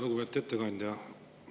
Lugupeetud ettekandja!